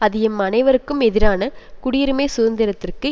அது எம் அனைவருக்கும் எதிரான குடியுரிமை சுதந்திரத்திற்கு